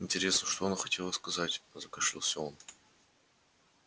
интересно что она хотела сказать закашлялся он